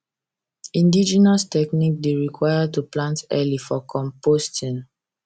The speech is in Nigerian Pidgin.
indigenous technique dey require to plant early for composting